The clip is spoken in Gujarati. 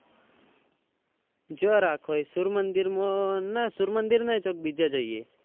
જે રાખો હોય સૂર્યમંદિર માં ના સૂર્યમંદિર નહી તો બીજા જયીયે.